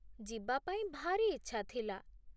ଯିବା ପାଇଁ ଭାରି ଇଚ୍ଛା ଥିଲା